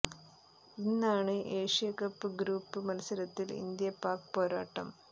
ഇന്നാണ് Asia cup group A മത്സരത്തിൽ India Pak പോരാട്ടം